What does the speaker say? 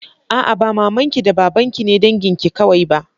A'a, ba maman ki da baban ki ne dangin ki kawai ba.